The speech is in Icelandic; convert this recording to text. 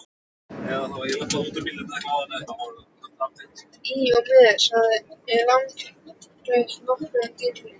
Í og með, sagði sá langleiti, nokkuð drýldinn.